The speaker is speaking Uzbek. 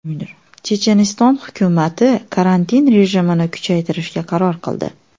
Checheniston hukumati karantin rejimini kuchaytirishga qaror qildi.